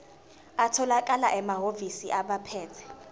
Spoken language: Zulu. atholakala emahhovisi abaphethe